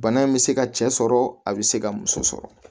Bana in bɛ se ka cɛ sɔrɔ a bɛ se ka muso sɔrɔ